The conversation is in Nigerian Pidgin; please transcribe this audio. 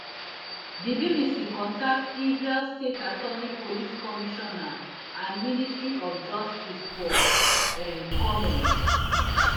di bbc contact israel state attorney police commissioner and ministry of justice for um comment